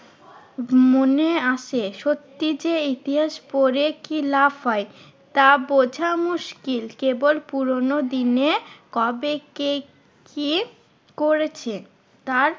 মনে আসে। সত্যি যে ইতিহাস পরে কি লাভ হয়? তা বোঝা মুশকিল কেবল পুরোনো দিনে কবে কে কি করেছে? তার